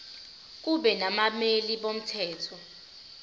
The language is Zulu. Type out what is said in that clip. kube nabameli bomthetho